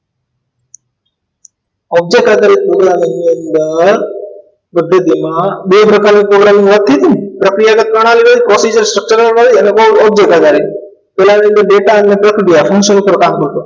Object આધારિત programming ની અંદર વધુમાં બે પ્રકારે programming હોતી તી ને પ્રક્રિયા પ્રણાલી procedure structure હોય અને object આધારિત પેલા ની અંદર data અને પ્રક્રિયા પુરુષો પર કામ કરતો હતો